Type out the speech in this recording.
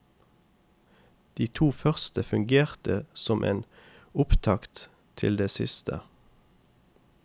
De to første fungerte som en opptakt til det siste.